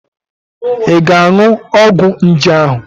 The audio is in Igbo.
Ị ga-aṅụ ọgwụ nje ahụ?